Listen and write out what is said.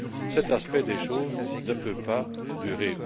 Cet aspect des choses ne peut pas durer.